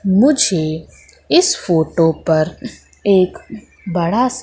मुझे इस फोटो पर एक बड़ा--